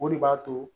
O de b'a to